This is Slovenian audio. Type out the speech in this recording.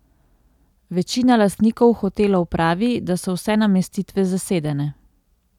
Večina lastnikov hotelov pravi, da so vse namestitve zasedene.